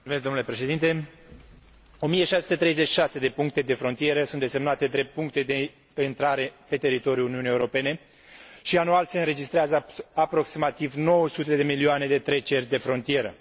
1636 de puncte de frontieră sunt desemnate drept puncte de intrare pe teritoriul Uniunii Europene și anual se înregistrează aproximativ 900 de milioane de treceri de frontieră.